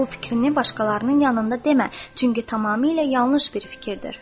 Bu fikrini başqalarının yanında demə, çünki tamamilə yanlış bir fikirdir.